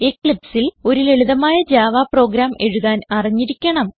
Eclipseൽ ഒരു ലളിതമായ Java program എഴുതാൻ അറിഞ്ഞിരിക്കണം